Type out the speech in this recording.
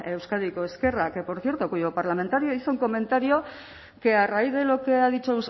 euskadiko ezkerra que por cierto cuyo parlamentario hizo un comentario que a raíz de lo que ha dicho